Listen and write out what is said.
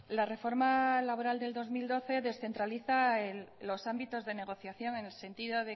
la reforma laboral del dos mil doce descentraliza los ámbitos de negociación en el sentido